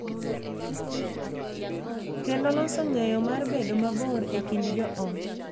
Kendo loso ng’eyo mar bedo mabor e kind jo ot,